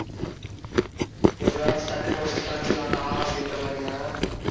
எப்படியாவது டக்குன்னு முடிச்சுட்டு கிளம்பிடலாம்டா அப்படின்ற மாதிரியா?